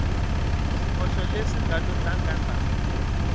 swihoxo leswi nga lo tlangandla